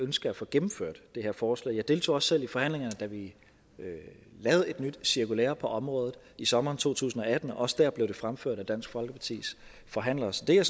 ønske at få gennemført det her forslag jeg deltog også selv i forhandlingerne da vi lavede et nyt cirkulære på området i sommeren to tusind og atten og også der blev det fremført af dansk folkepartis forhandler så det er